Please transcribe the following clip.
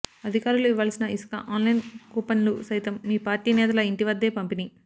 అధికారులు ఇవ్వాల్సిన ఇసుక ఆన్ లైన్ కూపన్లు సైతం మీపార్టీ నేతల ఇంటివద్దే పంపిణీ